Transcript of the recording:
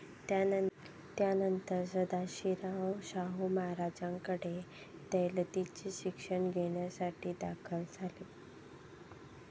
त्यानंतर सदाशिवराव शाहू महाराजांकडे दौलतीचे शिक्षण घेण्यासाठी दाखल झाले.